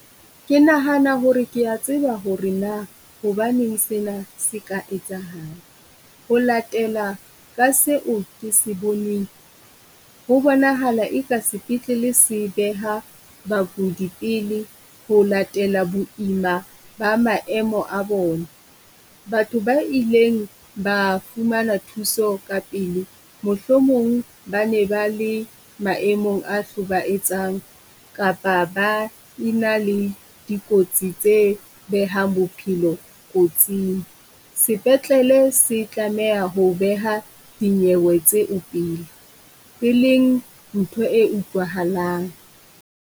Ke nahana hore kea tseba hore na hobaneng sena se ka etsahala. Ho latela ka seo ke se boneng ho bonahala eka sepetlele se beha bakudi pele ho latela boima ba maemo a bona. Batho ba ileng ba fumana thuso kapele. Mohlomong ba ne ba le maemong a hlobaetsang kapa ba e na le dikotsi tse behang bophelo kotsing. Sepetlele se tlameha ho beha dinyewe tseo pele eleng ntho e utlwahalang.